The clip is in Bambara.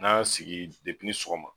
N'an sigi depi ni sɔgɔma.